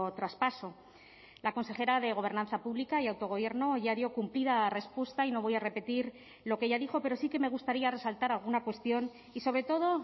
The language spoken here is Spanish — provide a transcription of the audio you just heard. traspaso la consejera de gobernanza pública y autogobierno ya dio cumplida respuesta y no voy a repetir lo que ya dijo pero sí que me gustaría resaltar alguna cuestión y sobre todo